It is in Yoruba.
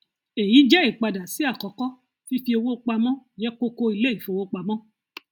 èyí jẹ ìpadà sí àkọkọ fífi owó pamọ jẹ kókó ilé ìfowópamọ